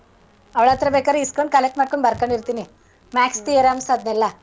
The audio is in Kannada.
ಅವ್ಳ್ ಹತ್ತ್ರ ಬೇಕಾರ್ ಇಸ್ಕಂಡ್ collect ಮಾಡ್ಕಂಡ್ ಬರ್ಕಂಡಿರ್ತೀನಿ. maths theorems ಅದ್ನೆಲ್ಲ.